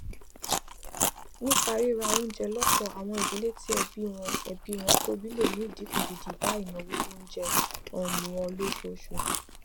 nípa ríra oúnjẹ lọpọ àwọn ìdílé tí ẹbí wọn ẹbí wọn tóbi le mú idínkù gidi bá ìnáwó oúnjẹ um wọn lóṣooṣù